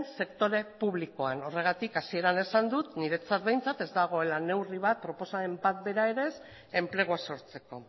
sektore publikoan horregatik hasieran esan dut niretzat behintzat ez dagoela neurri bat proposamen bat bera ere ez enplegua sortzeko